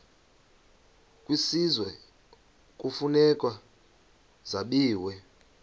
kwisizwe kufuneka zabiwe